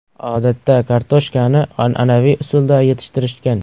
Odatda kartoshkani an’anaviy usulda yetishtirishgan.